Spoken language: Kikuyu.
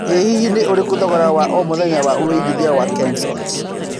ĩ hihi nĩ ũrikũ thogora wa o mũthenya wa wĩigĩthĩa wa kensalt